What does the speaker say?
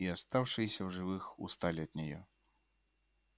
и оставшиеся в живых устали от неё